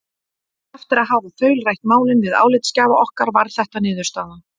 Eftir að hafa þaulrætt málin við álitsgjafa okkar varð þetta niðurstaðan: